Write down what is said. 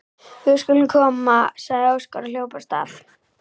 Við skulum koma, sagði Óskar og hljóp af stað.